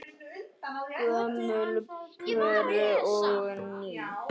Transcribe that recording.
Gömul pör og ný.